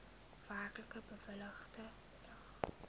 werklik bewilligde bedrag